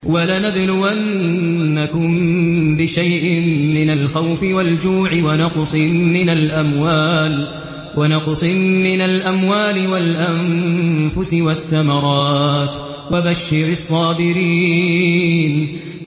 وَلَنَبْلُوَنَّكُم بِشَيْءٍ مِّنَ الْخَوْفِ وَالْجُوعِ وَنَقْصٍ مِّنَ الْأَمْوَالِ وَالْأَنفُسِ وَالثَّمَرَاتِ ۗ وَبَشِّرِ الصَّابِرِينَ